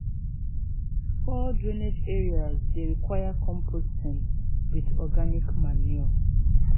poor drainage areas dey require composting with organic manure.